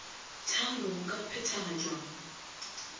tharo go ka phethagatšwa mo